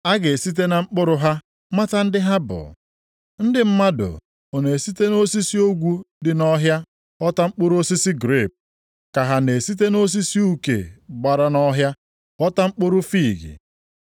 A ga-esite na mkpụrụ + 7:16 Mkpụrụ Nʼebe a o bụ ihe Igbo na-akpọ omume maọbụ agwa. ha mata ndị ha bụ. Ndị mmadụ ọ na-esite nʼosisi ogwu dị nʼọhịa ghọta mkpụrụ osisi grepu, ka ha na-esite nʼosisi uke gbara nʼọhịa ghọta mkpụrụ fiig?